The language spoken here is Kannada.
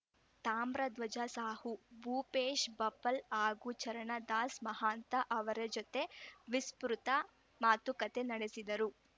ತಾಮ್ರಧ್ವಜ ಸಾಹು ಭೂಪೇಶ್‌ ಬಫ್ಲ್‌ ಹಾಗೂ ಚರಣದಾಸ ಮಹಾಂತ ಅವರ ಜತೆ ವಿಸ್ತೃತ ಮಾತುಕತೆ ನಡೆಸಿದರು